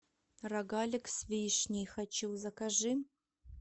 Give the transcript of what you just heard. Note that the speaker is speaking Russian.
рогалик с вишней хочу закажи